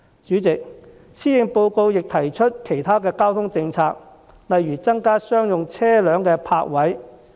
主席，施政報告亦提出其他交通政策，例如增加商用車輛的泊位。